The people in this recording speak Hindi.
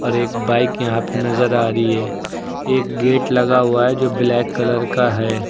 और एक बाइक यहां पर नजर आ रही है एक गेट लगा हुआ है जो ब्लैक कलर का है।